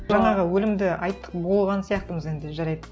жаңағы өлімді айттық болған сияқтымыз енді жарайды